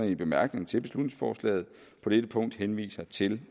i bemærkningerne til beslutningsforslaget på dette punkt henviser til